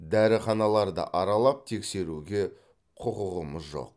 дәріханаларды аралап тексеруге құқығымыз жоқ